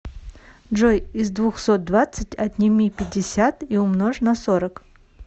джой из двухсот двадцать отними пятьдесят и умножь на сорок